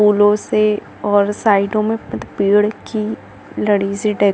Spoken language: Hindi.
फूलों से और साइड मे पेड़ की लड़ी से--